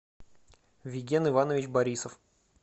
виген иванович борисов